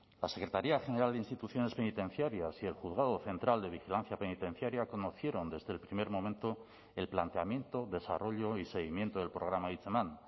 la secretaría general de instituciones penitenciarias y el juzgado central de vigilancia penitenciaria conocieron desde el primer momento el planteamiento desarrollo y seguimiento del programa hitzeman